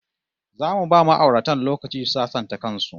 Zamu ba ma'auratan lokaci su sasanta kan su